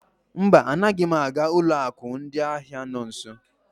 Mba, anaghị m aga ụlọ akụ ndị ahịa na nso.